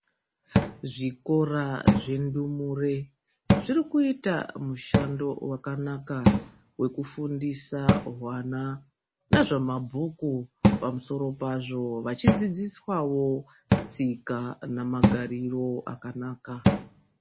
Zvikora zvendumure zvirikuita mushando wakanaka. Wekufundisa hwana nazvamabhuku pamusoro pazvo vachidzidziswavo tsika namagariro akanaka.